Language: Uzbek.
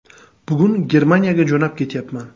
Bugun Germaniyaga jo‘nab ketyapman.